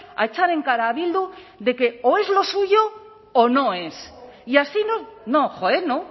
a echar en cara a bildu de que o es lo suyo o no es y así no no joe no